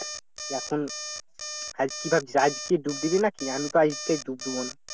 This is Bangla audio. এখন আজ কি ভাবছিস আজ কি ডুব দিবি নাকি? আমি তো আজকে ডুব দিব না